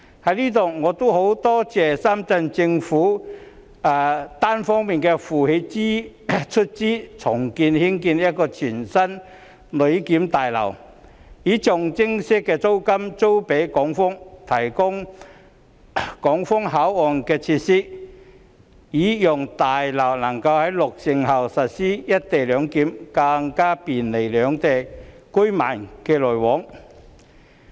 我在此感謝深圳政府一方負責出資重建一座全新的旅檢大樓，並以象徵式租金租予港方，提供港方口岸設施，讓大樓能夠在落成後實施"一地兩檢"，更便利兩地居民往來。